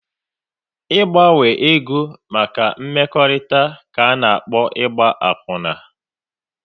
Ị gbanwe ego maka mmekọrịta ka ana-akpọ Ịgba akwuna